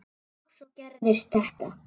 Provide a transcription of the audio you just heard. Og svo gerist þetta.